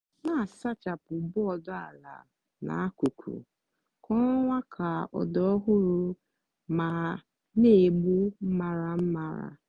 na-asachapụ bọọdụ ala na akụkụ kwa ọnwa ka ọ dị ọhụrụ ma na-egbu maramara.